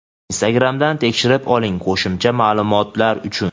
Instagramdan tekshirib oling qo‘shimcha maʼlumotlar uchun.